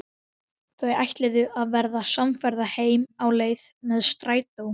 Ég réð drauminn svo að hann boðaði fall föður þíns.